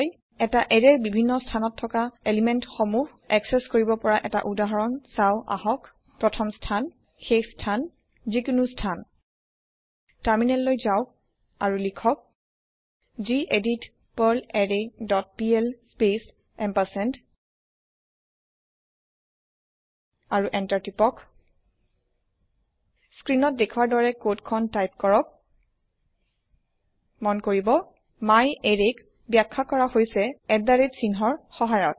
এটা এৰেয়ৰ বিভিন্ন স্থানত থকা পদাৰ্থ সমূহ একচেস কৰিব পৰা এটা উদাহৰণ চাও আহক প্ৰথম স্থান শেষ স্থান যিকোনো স্থান টাৰমিনেললৈ যাওক আৰু লিখক গেদিত পাৰ্লাৰৰে ডট পিএল স্পেচ এম্পাৰচেণ্ড আৰু এন্টাৰ টিপক স্ক্ৰীণত দেখোৱাৰ দৰে কদ খিনি টাইপ কৰক মন কৰিব myArrayক বাখ্যা কৰা হৈছে চিহ্নৰ সহায়ত